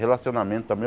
Relacionamento também.